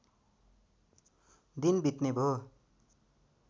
दिन बित्ने भो